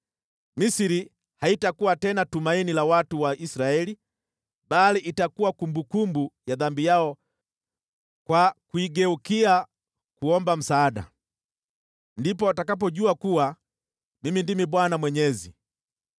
Misri haitakuwa tena tumaini la watu wa Israeli bali itakuwa kumbukumbu ya dhambi yao kwa kuigeukia kuomba msaada. Ndipo watakapojua kuwa Mimi ndimi Bwana Mwenyezi.’ ”